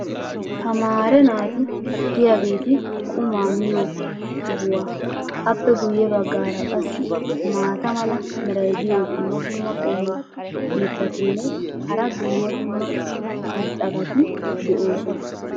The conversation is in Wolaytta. Tamaare naati diyaageeti qumaa miyo sohuwa. appe guye bagaara qassi maata mala meray diyo dumma dumma qommo mitattinne hara dumma dumma irxxabati de'oosona.